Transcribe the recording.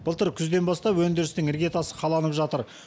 былтыр күзден бастап өндірістің іргетасы қаланып жатыр